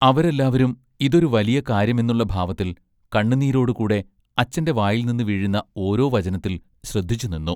അവരെല്ലാവരും ഇതൊരുവലിയ കാര്യമെന്നുള്ള ഭാവത്തിൽ കണ്ണുനീരോടു കൂടെ അച്ചന്റെ വായിൽനിന്ന് വീഴുന്ന ഓരോ വചനത്തിൽ ശ്രദ്ധിച്ചുനിന്നു.